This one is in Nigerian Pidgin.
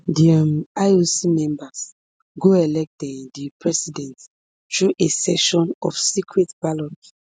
di um ioc members go elect um di president through a session of secret ballot